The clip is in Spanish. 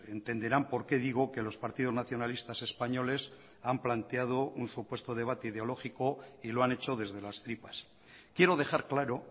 entenderán por qué digo que los partidos nacionalistas españoles han planteado un supuesto debate ideológico y lo han hecho desde las tripas quiero dejar claro